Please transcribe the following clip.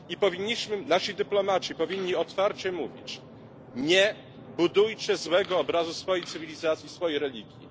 Nasi dyplomaci powinni otwarcie mówić nie budujcie złego obrazu swojej cywilizacji, swojej religii.